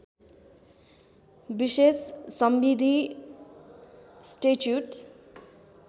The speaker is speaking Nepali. विशेष संविधि स्टैच्युट